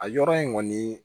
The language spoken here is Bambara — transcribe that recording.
A yɔrɔ in kɔni